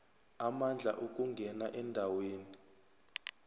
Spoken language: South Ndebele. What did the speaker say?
amandla ukungena endaweni